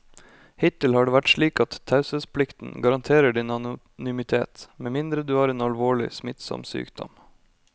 Hittil har det vært slik at taushetsplikten garanterer din anonymitet med mindre du har en alvorlig, smittsom sykdom.